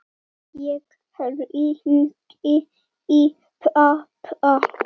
Hefur hann verið áður?